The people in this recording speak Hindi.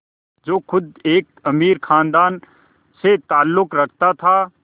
जो ख़ुद एक अमीर ख़ानदान से ताल्लुक़ रखता था